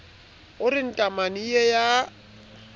o re ntaramane ee ya